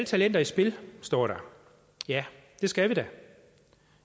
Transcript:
talenter i spil står der ja det skal vi da